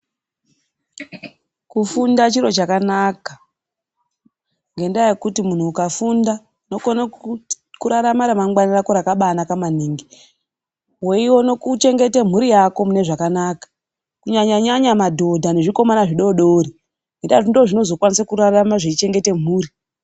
Kufunda chiro chakanaka, ngendaa yekuti munhu ukafunda unokone kurarama ramangwana rako rakabanaka maningi. Weione kuchengeta mhuri yako mune zvakanaka. kunyanya nyanya madhodha nezvimomana zvidoodori . Indaa yekuti ndozvinozokwanisa kurarama zveichengeta mhuri.